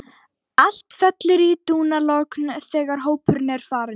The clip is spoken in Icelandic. Allt fellur í dúnalogn þegar hópurinn er farinn.